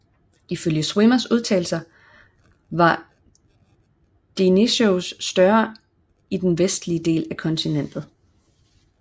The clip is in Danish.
Ifølge Schwimmers undersøgelser var Deinosuchus større i den vestlige del af kontinentet